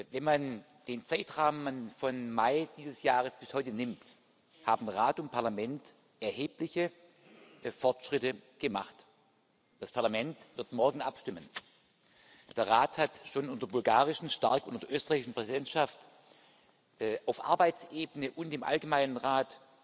Wenn man den Zeitrahmen von Mai dieses Jahres bis heute nimmt, haben Rat und Parlament erhebliche Fortschritte gemacht. Das Parlament wird morgen abstimmen. Der Rat hat schon stark unter der bulgarischen und unter der österreichischen Präsidentschaft auf Arbeitsebene und im allgemeinen Rat